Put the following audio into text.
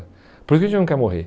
Por isso que a gente não quer morrer.